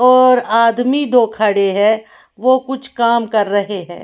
और आदमी दो खड़े हैं वो कुछ काम कर रहे हैं।